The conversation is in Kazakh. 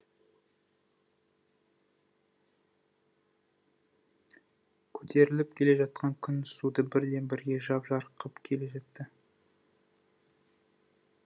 көтеріліп келе жатқан күн суды бірден бірге жап жарық қып келе жатты